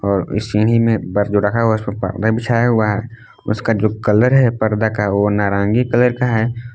और इस सीढ़ी में पर जो रखा हुआ है उसमें पर्दा बिछाया हुआ है उसका जो कलर है पर्दा का वो नारंगी कलर है।